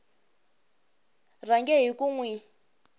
rhange hi ku n wi